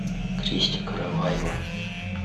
кристя караваева